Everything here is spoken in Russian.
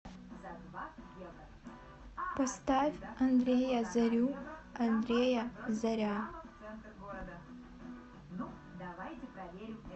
поставь андрея зарю андрея заря